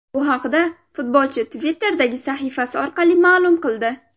Bu haqda futbolchi Twitter’dagi sahifasi orqali ma’lum qildi .